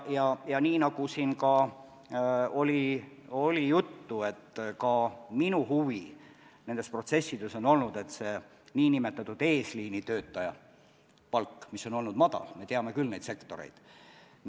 Ja nagu siin juttu oli, ka minu huvi nende protsesside puhul on olnud, et nn eesliinitöötaja palk, mis on olnud madalam – me teame küll neid sektoreid –, tõuseks.